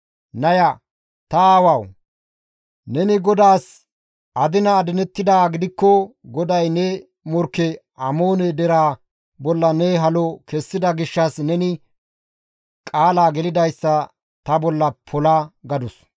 Naya, «Ta aawawu! Neni GODAAS adina adinettidaa gidikko GODAY ne morkke Amoone deraa bolla ne halo kessida gishshas neni qaala gelidayssa ta bolla pola!» gadus.